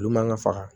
Olu man kan ka faga